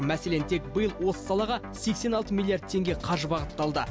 мәселен тек биыл осы салаға сексен алты миллиард теңге қаржы бағытталды